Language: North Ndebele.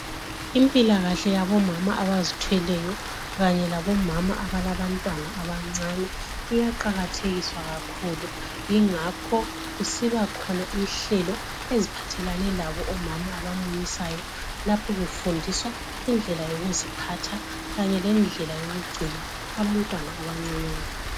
Impilakahle yabomama abazithweleyo kanye labomama abalabantwana abancane, iyaqakathekiswa kakhulu ingakho kusiba khona inhlelo eziphathelane labo omama abamunyisayo lapho befundiswa indlela yokuziphatha kanye lendlela yokugcina abantwana abancinyane.